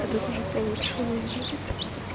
этот уже получше выглядит